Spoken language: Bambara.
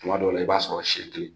Kuma dɔ la, i b'a sɔrɔ